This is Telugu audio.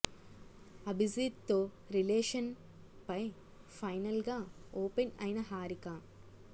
అభిజీత్ తో రిలేషన్ పై ఫైనల్ గా ఓపెన్ అయిన హారిక